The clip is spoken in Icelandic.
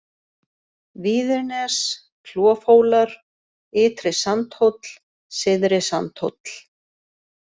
Víðirnes, Klofhólar, Ytri-Sandhóll, Syðri-Sandhóll